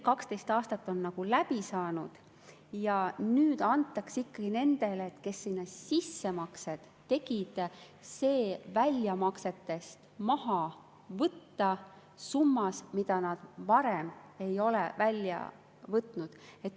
12 aastat on läbi saanud ja nüüd antakse ikkagi nendele, kes sinna sissemakseid tegid, see väljamaksetest maha võtta summas, mida nad varem ei ole välja võtnud.